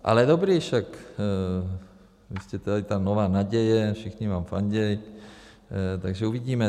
Ale dobrý, však vy jste tady ta nová naděje, všichni vám fandí, takže uvidíme.